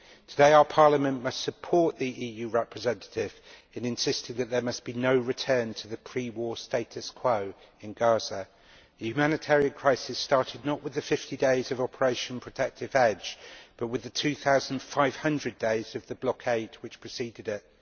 Today our Parliament must support the EU representative in insisting that there must be no return to the pre war status quo in Gaza. The humanitarian crisis started not with the 50 days of Operation Protective Edge but with the 2500 days of the blockade which preceded it.